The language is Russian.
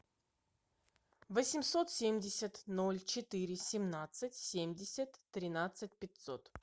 восемьсот семьдесят ноль четыре семнадцать семьдесят тринадцать пятьсот